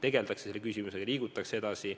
Vähemasti tegeldakse selle küsimusega ja liigutakse edasi.